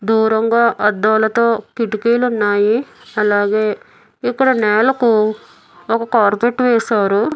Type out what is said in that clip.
దూరంగా అద్దాలతో కిటికీలున్నాయి అలాగే ఇక్కడ నేలకు ఒక కార్పెట్ వేశారు.